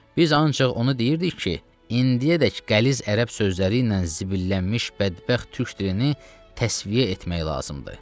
Biz ancaq onu deyirdik ki, indiyədək qəliz ərəb sözləri ilə zibillənmiş bədbəxt türk dilini təsviyə etmək lazımdır.